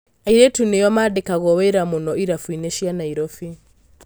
Airĩtu nĩo mandĩkagwo wĩra muno irabuinĩ cia Nairobi.